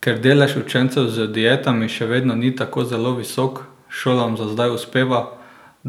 Ker delež učencev z dietami še vedno ni tako zelo visok, šolam za zdaj uspeva,